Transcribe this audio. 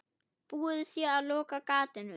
Búið sé að loka gatinu.